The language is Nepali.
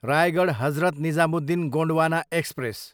रायगढ, हजरत निजामुद्दिन गोन्डवाना एक्सप्रेस